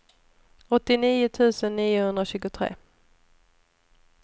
åttionio tusen niohundratjugotre